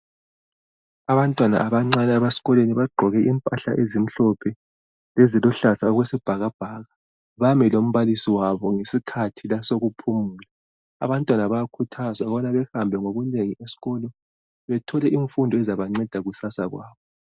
Abantwana abancane abesikolweni bagqoke impahla ezimhlophe, leziluhlaza okwesibhakabhaka bami lombalisi wabo ngesikhathi sokuphumula. Abantwana bayakhuthazwa ukubana behambe ngobunengi esikolo bethole imfundo ezabancedisa kukusasa labo.